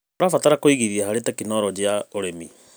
Tũrabatara kũigithia harĩ tekinoronjĩ ya ũrĩmi.